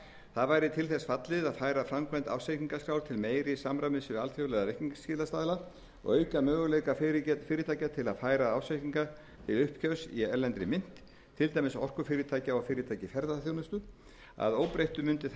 það væri til þess fallið að færa framkvæmd ársreikningaskrár til meira samræmis við alþjóðlega reikningsskilastaðla og auka möguleika fyrirtækja til að færa ársreikninga til uppgjörs í erlendri mynt til dæmis orkufyrirtækja og fyrirtækja í ferðaþjónustunni að óbreyttu mundu það